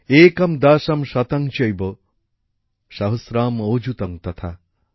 একং দশং শতং চৈব সহস্রম অযুতং তথা